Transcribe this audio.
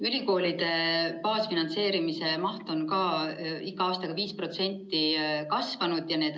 Ülikoolide baasfinantseerimise maht on ka iga aastaga 5% kasvanud.